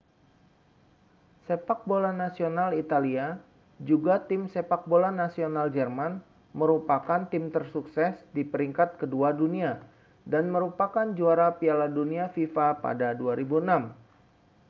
sepak bola nasional italia juga tim sepak bola nasional jerman merupakan tim tersukses di peringkat kedua dunia dan merupakan juara piala dunia fifa pada 2006